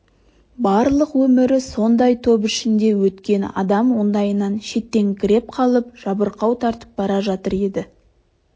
барлық өмірі сондай топ ішінде өткен адам ондайынан шеттеңкіреп қалып жабырқау тартып бара жатыр еді